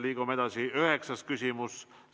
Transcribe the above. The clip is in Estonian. Liigume edasi üheksanda küsimuse juurde.